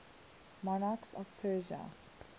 monarchs of persia